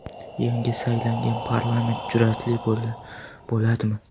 Yangi saylangan parlament jur’atli bo‘ladimi?